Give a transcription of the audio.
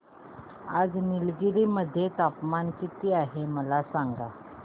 आज निलगिरी मध्ये तापमान किती आहे मला सांगा